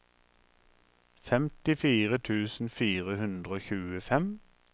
femtifire tusen fire hundre og tjuefem